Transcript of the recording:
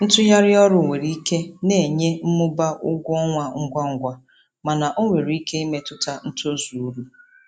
Ntugharị ọrụ nwere ike na-enye mmụba ụgwọ ọnwa ngwa ngwa mana ọ nwere ike imetụta ntozu uru.